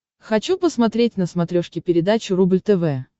хочу посмотреть на смотрешке передачу рубль тв